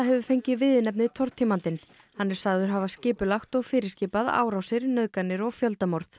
hefur fengið viðurnefnið tortímandinn hann er sagður hafa skipulagt og fyrirskipað árásir nauðganir og fjöldamorð